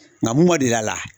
Nka mun man deli a la